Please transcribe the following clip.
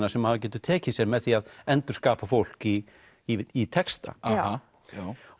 sem maður getur tekið sér með því að endurskapa fólk í í texta